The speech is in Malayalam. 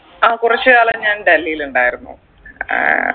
ആ കുറച്ചുകാലം ഞാൻ ഡൽഹിൽ ഉണ്ടായിരുന്നു ഏർ